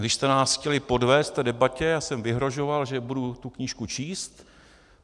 Když jste nás chtěli podvést v té debatě, já jsem vyhrožoval, že budu tu knížku číst.